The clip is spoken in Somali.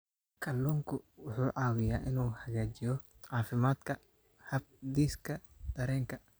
Kalluunku wuxuu caawiyaa inuu hagaajiyo caafimaadka habdhiska dareenka.